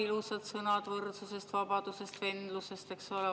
Ilusad sõnad võrdsusest, vabadusest, vendlusest, eks ole.